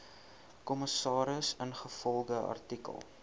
kommissaris ingevolge artikel